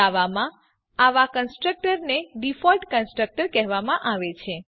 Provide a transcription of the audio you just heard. જાવામાં આવા કન્સ્ટ્રક્ટર ને ડીફોલ્ટ કન્સ્ટ્રક્ટર કહેવામાં આવે છે